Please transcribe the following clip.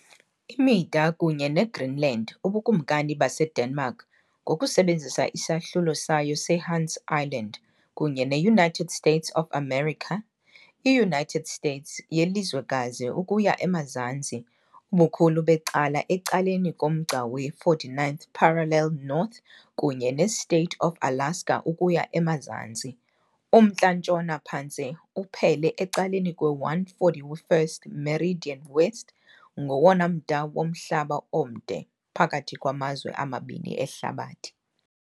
Imida kunye neGreenland, uBukumkani baseDenmark, ngokusebenzisa isahlulo sayo seHans Island, kunye neUnited States of America, i-United States yelizwekazi ukuya emazantsi, ubukhulu becala ecaleni komgca we-49th parallel North, kunye ne-State of Alaska ukuya emazantsi. umntla-ntshona phantse uphele ecaleni kwe-141st meridian West, ngowona mda womhlaba omde phakathi kwamazwe amabini ehlabathini.